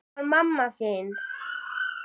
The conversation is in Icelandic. Það var mamma þín.